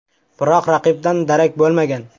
Biroq raqibdan darak bo‘lmagan.